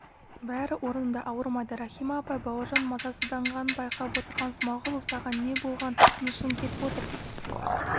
бәрі орнында ауырмайды рахима апай бауыржанның мазасызданғанын байқап отырған смағұлов саған не болған тынышың кетіп отыр